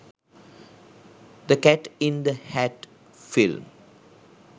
the cat in the hat film